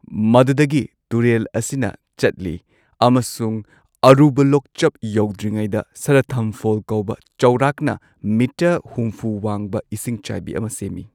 ꯃꯗꯨꯗꯒꯤ ꯇꯨꯔꯦꯜ ꯑꯁꯤꯅ ꯆꯠꯂꯤ ꯑꯃꯁꯨꯡ ꯑꯔꯨꯕ ꯂꯣꯛꯆꯞ ꯌꯧꯗ꯭ꯔꯤꯉꯩꯗ, ꯁꯥꯗꯊꯝ ꯐꯣꯜ ꯀꯧꯕ ꯆꯥꯎꯔꯥꯛꯅ ꯃꯤꯇꯔ ꯍꯨꯝꯐꯨ ꯋꯥꯡꯕ ꯏꯁꯤꯡꯆꯥꯏꯕꯤ ꯑꯃ ꯁꯦꯝꯃꯤ꯫